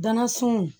Danna sun